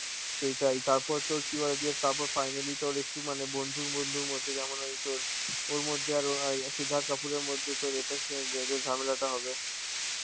সেটাই, তারপরে তো কি বলে দিয়ে তারপরে finally তোর একটু মানে বন্ধুর বন্ধুর মতে যেমন ওই তোর, ওর মধ্যে আরো সিদ্ধার্থ কাপুরের মধ্যে তোর এটা ঝামেলাটা হবে